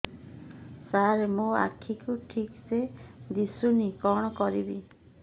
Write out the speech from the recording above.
ସାର ମୋର ଆଖି କୁ ଠିକସେ ଦିଶୁନି କଣ କରିବି